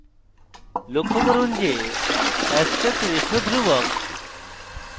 লক্ষ্য করুন যে aspect ratio ধ্রুবক